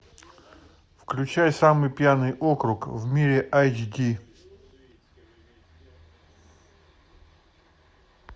включай самый пьяный округ в мире айч ди